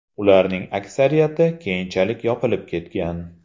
Ularning aksariyati keyinchalik yopilib ketgan.